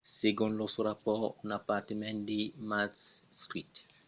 segon los rapòrts un apartament de macbeth street explosèt per encausa d’un escapament de gas